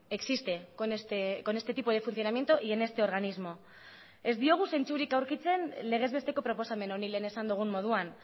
existe con este tipo de funcionamiento y en este organismo ez diogu zentzurik aurkitzen legez besteko proposamen honi lehen esan dugun moduan